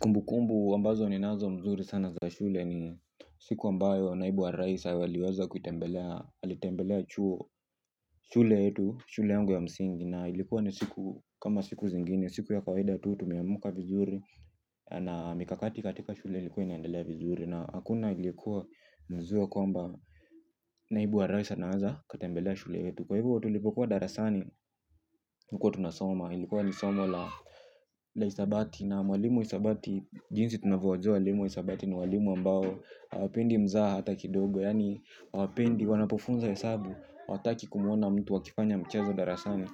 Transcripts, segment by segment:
Kumbu kumbu ambazo ninazo mzuri sana za shule ni siku ambayo naibu wa rais aliweza kutembelea alitembelea chuo. Shule yetu shule yangu ya msingi na ilikuwa ni siku kama siku zingini siku ya kawaida tu tumeamuka vizuri na mikakati katika shule ilikuwa inaendelea vizuri na hakuna iliyekuwa anazua kwamba naibu wa rais naeza katembelea shule yetu. Kwa hibu wa tulipokuwa darasani tulkuwa tunasoma. Ilikuwa lisoma la isabati. Na walimu isabati jinsi tunavuwa zwa walimu isabati ni walimu ambao hawapendi mzaha hata kidogo. Yani wapendi wanapofunza hesabu. Wataki kumuona mtu akifanya mchezo darasani.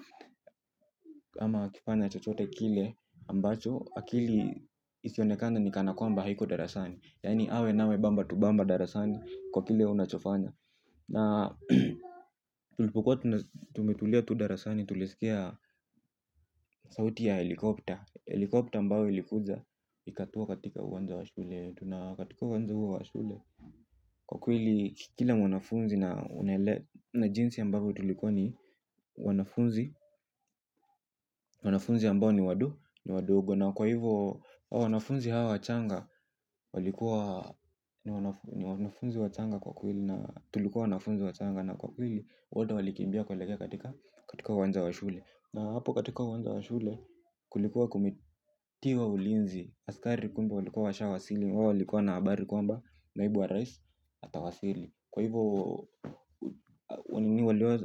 Ama akifanya chochote kile Ambacho Akili isionekane ni kana kwamba haiko darasani. Yani awe nawe bamba tubamba darasani. Kwa kile unachofanya. Na tulipukua tumetulia tudarasani tulesikea sauti ya helikopter. Helikopter ambao ilikuza ikatua katika uwanja wa shule. Tunakatika uwanza wa shule. Kwa kwili kila mwanafunzi na jinsi ambavyo tulikuwa ni wanafunzi. Wanafunzi ambao ni wadu ni wadogo na kwa hivo wanafunzi hawa wachanga. Walikuwa ni wanafunzi wa changa kwa kweli na tulikuwa wanafunzi wa changa. Na kwa hili wada walikimbia kuelekea katika uwanja wa shule. Na hapo katika uwanja wa shule kulikuwa kumitiwa ulinzi. Askari kumbu walikuwa washa wasili. Wawo walikuwa na abari kwamba naibu wa rais atawasili. Kwa hivo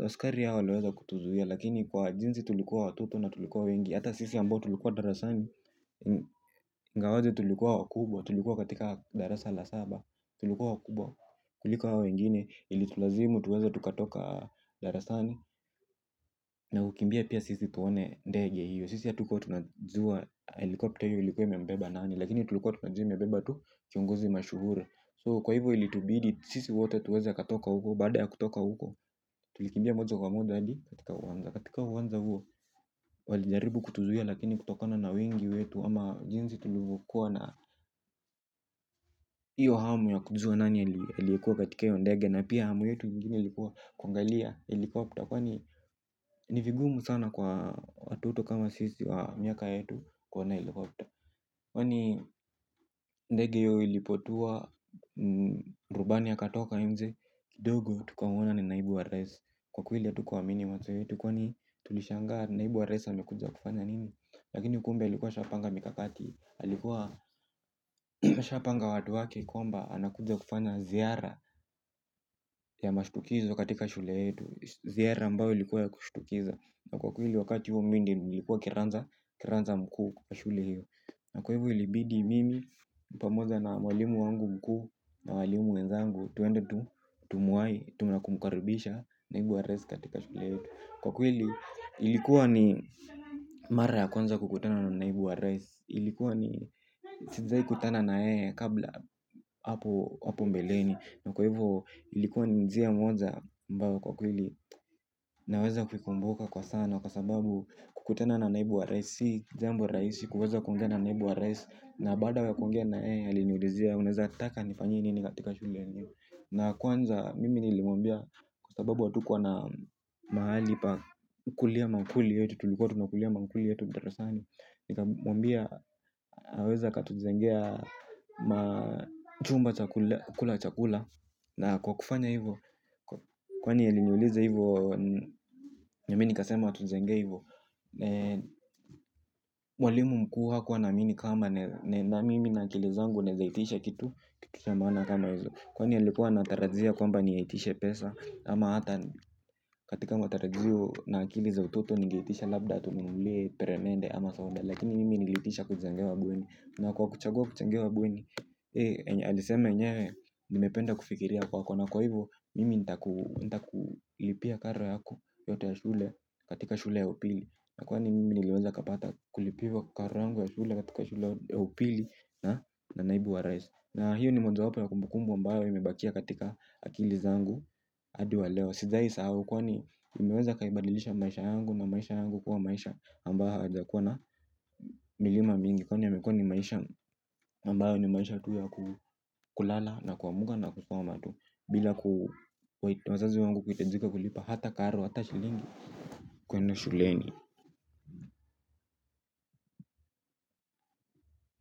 askari ya waleweza kutuzuhia. Lakini kwa jinzi tulikuwa watoto na tulikuwa wengi. Hata sisi ambao tulikuwa darasani. Ngawaje tulikuwa wakubwa tulikuwa katika darasa la saba. Tulikuwa wakubwa kulikuwa wengine ili tulazimu tuweza tukatoka darasani na kukimbia pia sisi tuone ndege hiyo sisi hatukuwa tunajua ndege hiyo ilikuwa inambeba nani lakini tulikuwa tunajua tu imebeba kiongozi mashuhuri so ilitubidi sisi wote tuweze kutoka huko baada ya kutoka huko tulikimbia moja kwa moja hadi katiuka uwanja huo walijaribu kutuzuia lakini kutokana na wingi wetu ama jinsi tulivyo kuwa na hiyo hamu ya kujua na alikuwa katika hiyo ndege na pia hamu yetu mgini likuwa kwangalia helikopter kwani nivigumu sana kwa watoto kama sisi wa miaka yetu kuona helikopter kwani ndege hiyo ilipotua rubani ya katoka mze dogo tukaona ni naibu wa rais kwa kuili ya tukuwa minima tukwani tulishangaa naibu wa rais amekuza kufanya nini lakini kumbe alikuwa ashapanga mikakati alikuwa ashapanga watu waki kwamba anakuja kufanya ziara ya mashutukizo katika shule yetu ziara ambao ilikuwa kushutukiza. Na kweli walkati huo mimi ndo nilikuwa kiranja mkuu wa shule hiyo. Na kwa hiv ilibidi mimi upamoza na walimu wangu mkuu na walimu wenzangu tuende tu, tu muai, tu mna kumkarubisha naibu wa rais katika shule hiyo. Kwa kwili ilikuwa ni mara kwanza kukutana na naibu wa rais. Ilikuwa ni tizai kutana na yeye kabla hapo mbeleni. Na kwa hivo ilikuwa njia moja ambao kwa kwili. Naweza kuikumbuka kwa sana. Kwa sababu kukutana na naibu wa raisi jambo raisi kwaweza kongena na naibu wa raisi. Na bada kongena eh aliniulizia. Unaweza taka nifanyie nini katika shuli. Na kwanza mimi nilimwambia kwa sababu hatukuwa na mahali kukulia mankuli yetu tulukuwa tunakulia mankuli yetu darasani. Nika mwambia. Haweza katujengea chumba chakula chakula. Na kwa kufanya hivu. Kwani aliniuliza hivu. Namini kasema tuzengeivo. Walimu mkuu hakuwa na mini kama na mimi na akilizangu naezahitisha kitu. Kitu chamana kama yuzo. Kwani ya likuwa na tarazia kwamba niyahitisha pesa. Ama hata katika matarajio na akilizototo. Nigeitisha labda tunumule peremende ama saunda. Lakini mimi niliitisha kujengewa bweni. Na kwa kuchagua kuchangewa bweni aliseme nyewe. Nimependa kufikiria kwa kwa na kwa hivo. Mimi nita kulipia karo yaku yote ya shule katika shula ya upili na kwani mimi liweza kapata kulipiwa karo yangu ya shule katika shule ya upili na naibu wa rais na hiyo ni mwazo wapo ya kumbukumbu ambayo imebakia katika akili zangu adi wa leo sijai sahau kwa ni imeweza kaibadilisha maisha yangu na maisha yangu kuwa maisha ambayo hajakuwa na milima mingi kwa ni yamekua ni maisha ambayo ni maisha tu ya kulala na kuamuga na kusoma tu bila kuwazazi wangu kuitajika kulipa hata karo hata shilingi kwenda shuleni.